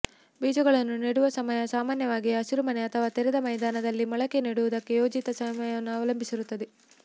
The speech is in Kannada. ಬೀಜಗಳನ್ನು ನೆಡುವ ಸಮಯ ಸಾಮಾನ್ಯವಾಗಿ ಹಸಿರುಮನೆ ಅಥವಾ ತೆರೆದ ಮೈದಾನದಲ್ಲಿ ಮೊಳಕೆ ನೆಡುವುದಕ್ಕೆ ಯೋಜಿತ ಸಮಯವನ್ನು ಅವಲಂಬಿಸಿರುತ್ತದೆ